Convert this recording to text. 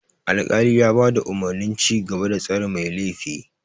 Alkali ya bada umurnin cigaba da tsare mai laifi.